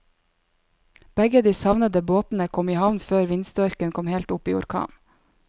Begge de savnede båtene kom i havn før vindstyrken kom opp i orkan.